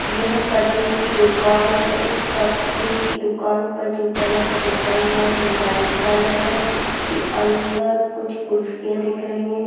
यह कटिंग की दुकान है इस कटिंग की दुकान पर जो कलर पुता हुआ है वो व्हाइट कलर है इसके अंदर कुछ कुर्सियां दिख रही है।